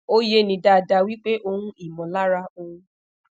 o ye ni dada wipe ohun imolara ohun